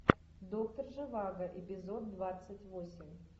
доктор живаго эпизод двадцать восемь